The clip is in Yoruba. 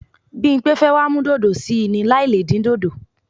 Bímpé fẹ́ wá mú dòdò sí í ni láì le dín dòdò.